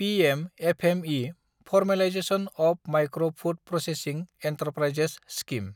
PM FME – formalisation of micro food processing enterprises scheme